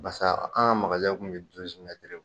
Barisa an ka kun bi